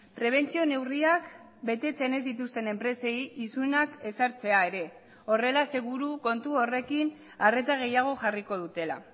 prebentzio neurriak betetzen ez dituzten enpresei isunak ezartzea ere horrela seguru kontu horrekin arreta gehiago jarriko dutela